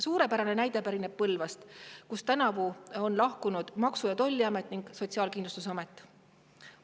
Suurepärane näide pärineb Põlvast, kust tänavu on lahkunud Maksu‑ ja Tolliamet ning Sotsiaalkindlustusamet.